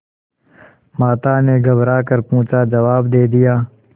माता ने घबरा कर पूछाजवाब दे दिया